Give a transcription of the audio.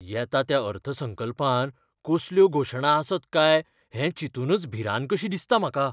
येता त्या अर्थसंकल्पांत कसल्यो घोशणा आसत काय हें चिंतूनच भिरांत कशी दिसता म्हाका.